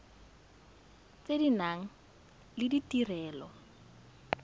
tse di nang le ditirelo